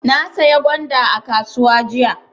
Na saya gwanda a kasuwa jiya.